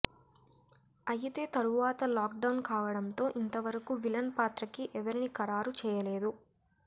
అయితే తరువాత lockdown కావడంతో ఇంత వరకు విలన్ పాత్రకి ఎవరిని ఖారారు చేయలేదు